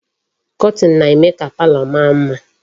Kọtin na-eme ka palo maa mma.